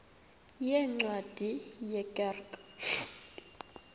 yeencwadi ye kerk